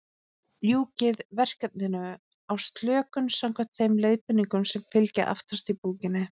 Ljúkið verkefninu á slökun, samkvæmt þeim leiðbeiningum sem fylgja aftast í bókinni.